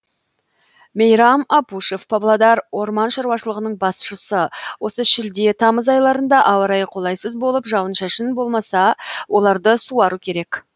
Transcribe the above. мейрам апушев павлодар орман шаруашылығының басшысы осы шілде тамыз айларында ауа райы қолайсыз болып жауын шашын болмаса оларды суару керек